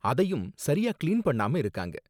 அதையும் சரியா கிளீன் பண்ணாம இருக்காங்க.